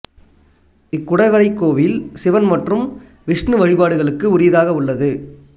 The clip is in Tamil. இக்குடைவரைக் கோயில் சிவன் மற்றும் விஷ்ணு வழிபாடுகளுக்கு உரியதாக உள்ளது